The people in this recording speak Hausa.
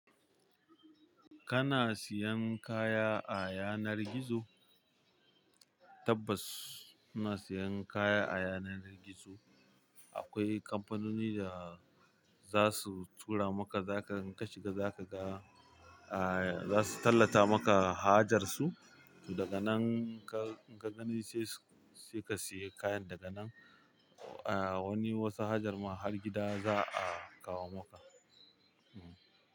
Kana siyan kaya a yanar gizo? Tabbas ina siyan kaya a yanar gizo. Akwai kamfanoni da za su tura maka, zaka in ka shiga zaka ga, ah za su tallata maka hajar su, daga nan ka in ka gani sai sai ka siya kayan daga nan. Ah wani wasu hajar mu har gida za a kawo maka. Hm.